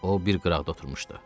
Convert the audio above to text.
O bir qıraqda oturmuşdu.